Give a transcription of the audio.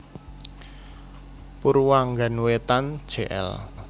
Purwanggan wétan Jl